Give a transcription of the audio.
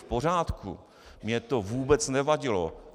V pořádku, mně to vůbec nevadilo.